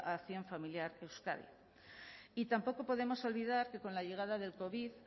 a acción familiar euskadi y tampoco podemos olvidar que con la llegada del covid